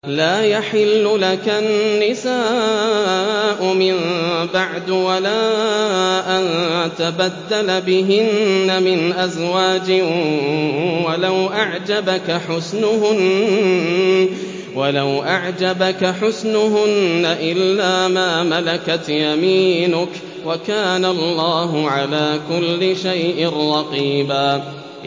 لَّا يَحِلُّ لَكَ النِّسَاءُ مِن بَعْدُ وَلَا أَن تَبَدَّلَ بِهِنَّ مِنْ أَزْوَاجٍ وَلَوْ أَعْجَبَكَ حُسْنُهُنَّ إِلَّا مَا مَلَكَتْ يَمِينُكَ ۗ وَكَانَ اللَّهُ عَلَىٰ كُلِّ شَيْءٍ رَّقِيبًا